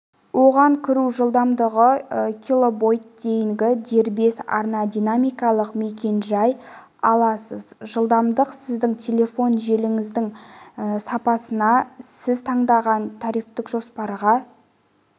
оған кіру жылдамдығы килобит дейінгі дербес арна динамикалық мекен-жай аласыз жылдамдық сіздің телефон желіңіздің сапасына сіз таңдаған тарифтік жоспарға